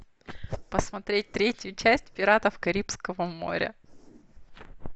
посмотреть третью часть пиратов карибского моря